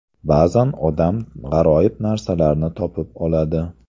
Ba’zan odam g‘aroyib narsalarni topib oladi.